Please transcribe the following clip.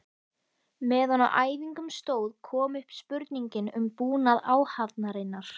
Meðan á æfingum stóð kom upp spurningin um búnað áhafnarinnar.